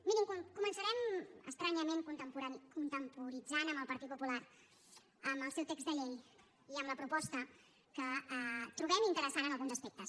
mirin començarem estranyament contemporitzant amb el partit popular amb el seu text de llei i amb la proposta que trobem interessant en alguns aspectes